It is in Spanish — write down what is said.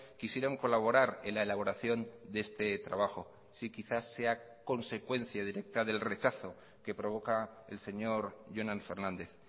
quisieron colaborar en la elaboración de este trabajo si quizás sea consecuencia directa del rechazo que provoca el señor jonan fernández